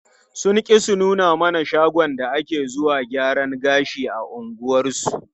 Sun ƙi su nuna mana shagon da take zuwa gyaran gashi a unguwarsu.